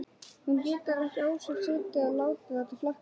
Hún getur ekki á sér setið að láta þetta flakka.